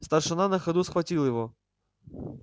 старшина на ходу схватил его